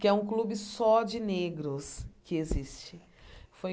que é um clube só de negros que existe. Foi